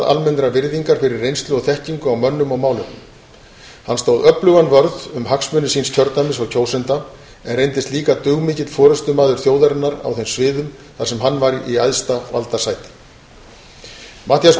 almennrar virðingar fyrir reynslu og þekkingu á mönnum og málefnum hann stóð öflugan vörð um hagsmuni síns kjördæmis og kjósenda en reyndist líka dugmikill forustumaður þjóðarinnar á þeim sviðum þar sem hann var í æðsta valdasæti matthías